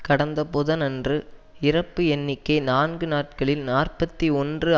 கடந்த புதனன்று இறப்பு எண்ணிக்கை நான்கு நாட்களில் நாற்பத்தி ஒன்று